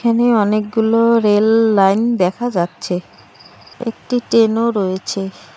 এখানে অনেকগুলো rail line দেখা যাচ্ছে একটি ট্রেন ও রয়েছে।